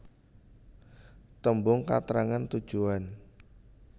Tembung katrangan tujuan